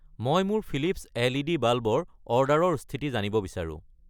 মই মোৰ Philips LED. Bulb ৰ অৰ্ডাৰৰ স্থিতি জানিব বিচাৰোঁ।